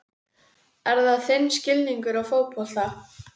Er það þinn skilningur á fótbolta?